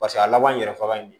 Paseke a laban yɛrɛ fagalen don